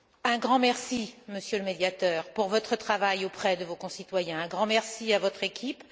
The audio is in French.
Un grand merci, Monsieur le Médiateur, pour votre travail auprès de vos concitoyens. Un grand merci à votre équipe.